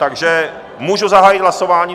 Takže můžu zahájit hlasování?